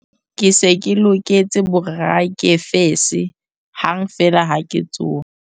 Ke se ke loketse borakefese hang feela ha ke tsoha.